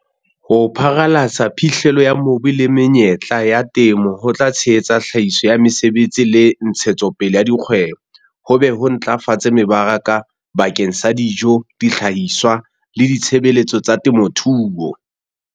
Ho pharalatsa phihlello ya mobu le menyetla ya temo ho tla tshehetsa tlhahiso ya mesebetsi le ntshetsopele ya dikgwebo, ho be ho ntlafatse mebaraka bakeng sa dijo, dihlahiswa le ditshebeletso tsa temothuo.